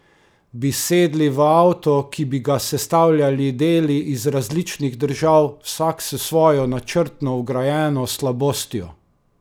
Bi sedli v avto, ki bi ga sestavljali deli iz različnih držav, vsak s svojo načrtno vgrajeno slabostjo?